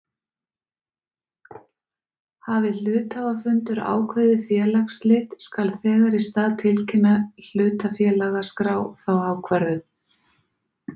Hafi hluthafafundur ákveðið félagsslit skal þegar í stað tilkynna hlutafélagaskrá þá ákvörðun.